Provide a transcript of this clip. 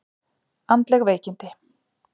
Andleg veikindi!